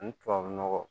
Ni tubabu nɔgɔ